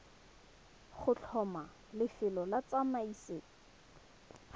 go tlhoma lefelo la tsamaiso